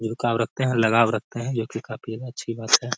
झुकाव रखते हैं लगाव रखते हैं जो कि काफी अच्छी बात है ।